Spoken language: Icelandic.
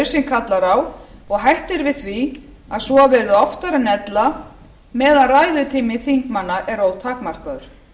nauðsyn kallar á og hætt er við því að svo verði oftar en ella meðan ræðutími þingmanna er ótakmarkaður